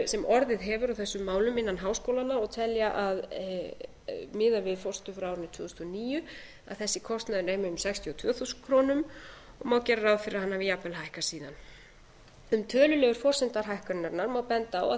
sem orðið hefur á þessum málum innan háskólanna og telja miðað við forsendur frá árinu tvö þúsund og níu að þessi kostnaður nemi um sextíu og tvö þúsund krónur og má gera ráð fyrir að hann hafi jafnvel hækkað síðan um tölulegar forsendur hækkunarinnar má benda á að